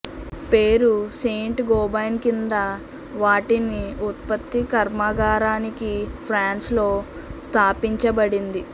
పేరు Saint Gobain కింద వాటిని ఉత్పత్తి కర్మాగారానికి ఫ్రాన్స్ లో స్థాపించబడింది